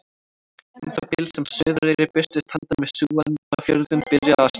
Um það bil sem Suðureyri birtist handan við Súgandafjörðinn byrjaði að snjóa.